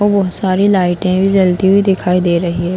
बहोत सारी लाइटें भी जलती हुई दिखाई दे रही है।